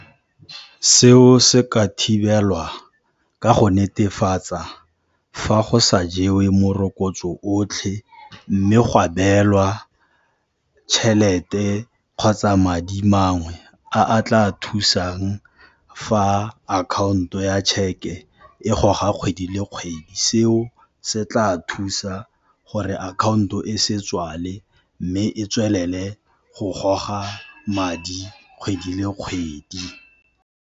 Seo se ka thibelwa ka go netefatsa fa go sa jewe morokotso otlhe, mme ga beelwa tjhelete kgotsa madi mangwe a a tla thusang fa akhaonto ya tšheke e goga kgwedi le kgwedi, seo se tla thusa gore akhaonto e se tswale mme e tswelele go goga madi kgwedi le kgwedi.